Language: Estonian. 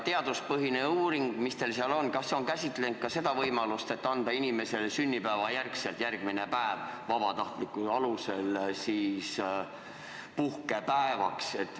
Teaduspõhine uuring, mis teil seal on, kas see on käsitlenud ka seda võimalust, et anda inimesele sünnipäevale järgnev päev vabatahtlikkuse alusel puhkepäevaks?